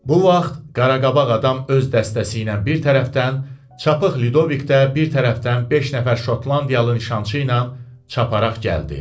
Bu vaxt Qaraqabaq adam öz dəstəsi ilə bir tərəfdən, Çapıq Lidovik də bir tərəfdən beş nəfər Şotlandiyalı nişançı ilə çaparaq gəldi.